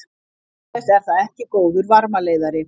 Auk þess er það ekki góður varmaleiðari.